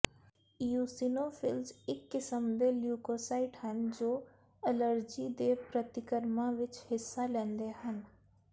eosinophils ਇੱਕ ਕਿਸਮ ਦੇ ਲਿਊਕੋਸਾਈਟ ਹਨ ਜੋ ਅਲਰਜੀ ਦੇ ਪ੍ਰਤੀਕਰਮਾਂ ਵਿੱਚ ਹਿੱਸਾ ਲੈਂਦੇ ਹਨ